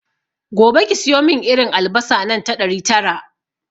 Gobe ki siyomin irin albasa nan ta ɗari tara